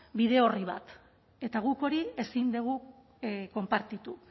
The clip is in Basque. bide orri bat eta guk hori ezin dugu konpartitu